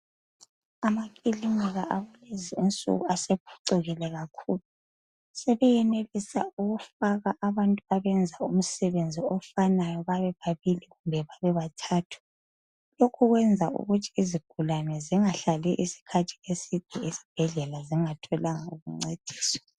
Amakilinika akulezi insuku sebephucukile kakhulu. Sebeyenelisa ukufaka abantu abayenza umsebenzi ofanayo babe ababili kumbe babe bathathu. Lokhu kuyenza ukuthi izigulane zingahlali iskhathi eside esibhedlela zingatholanga ukuncediswa.